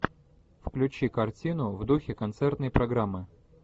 включи картину в духе концертной программы